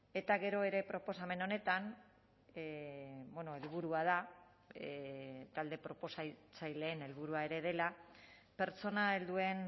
eta gero ere proposamen honetan helburua da talde proposatzaileen helburua ere dela pertsona helduen